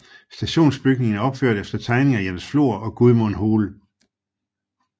Stationsbygningen er opført efter tegninger af Jens Flor og Gudmund Hoel